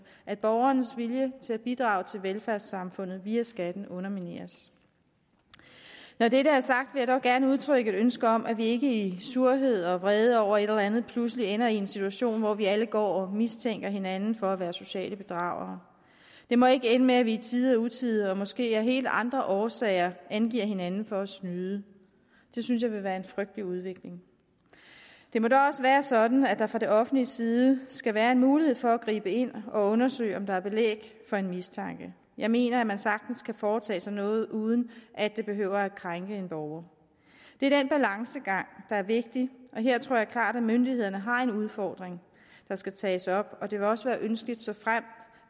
at borgernes vilje til at bidrage til velfærdssamfundet via skatten undermineres når dette er sagt vil jeg dog gerne udtrykke et ønske om at vi ikke i surhed og vrede over et eller andet pludselig ender i en situation hvor vi alle går og mistænker hinanden for at være sociale bedragere det må ikke ende med at vi i tide og utide og måske af helt andre årsager angiver hinanden for at snyde det synes jeg vil være en frygtelig udvikling det må da også være sådan at der fra det offentliges side skal være en mulighed for at gribe ind og undersøge om der er belæg for en mistanke jeg mener at man sagtens kan foretage sig noget uden at det behøver at krænke en borger det er den balancegang der er vigtig og her tror jeg klart at myndighederne har en udfordring der skal tages op det vil også være ønskeligt